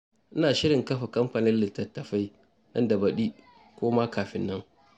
Ina shirin kafa kamfanin litattafai nan da baɗi ko ma kafin nan.